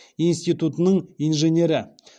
институтының инженері